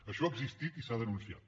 això ha existit i s’ha denunciat